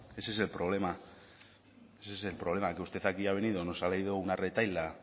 ese es el problema ese es el problema que usted aquí ha venido nos ha leído una retahíla